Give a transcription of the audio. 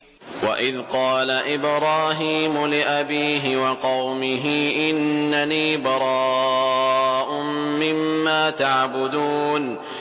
وَإِذْ قَالَ إِبْرَاهِيمُ لِأَبِيهِ وَقَوْمِهِ إِنَّنِي بَرَاءٌ مِّمَّا تَعْبُدُونَ